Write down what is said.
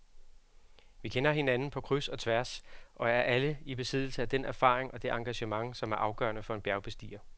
Vi kender hinanden på kryds og tværs og er alle i besiddelse af den erfaring og det engagement, som er afgørende for en bjergbestiger.